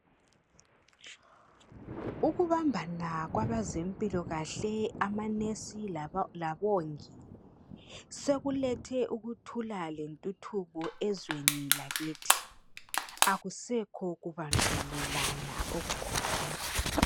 Ukubambana kwabazempilokahle amanesi labongi sekulethe ukuthulale nthuthubo ezweni lakithi akusekho kubandlululana okukhona.